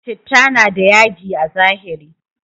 Chitta na da yaji a zahiri